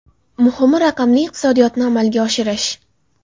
Muhimi, raqamli iqtisodiyotni amalga oshirish.